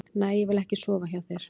Nei, ég vil ekki sofa hjá þér.